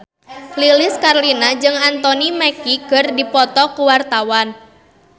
Lilis Karlina jeung Anthony Mackie keur dipoto ku wartawan